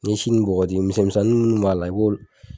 N'i ye si nun bɔgɔti misɛn misɛnnin minnu b'a la i b'olu